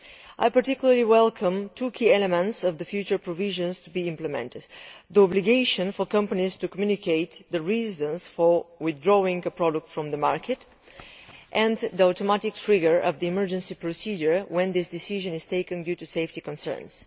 I particularly welcome two key elements of the future provisions to be implemented the obligation for companies to communicate the reasons for withdrawing a product from the market and the automatic trigger of the emergency procedure when this decision is taken due to safety concerns.